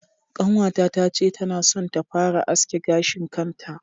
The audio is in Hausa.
Ƙanwata ta ce tana son ta fara aske gashin kanta.